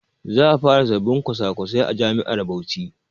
Za a fara sabbin kwasa-kwasai a jami'ar Bauchi.